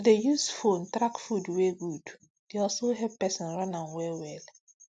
to dey use phone track food wey good dey also help person run am very well